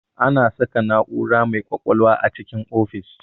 Ana saka na'ura mai ƙwaƙwalwa a cikin ofis